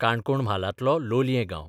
काणकोण म्हालांतलो लोलयें गांव.